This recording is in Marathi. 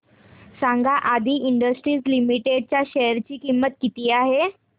सांगा आदी इंडस्ट्रीज लिमिटेड च्या शेअर ची किंमत किती आहे